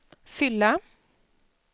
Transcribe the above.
fylla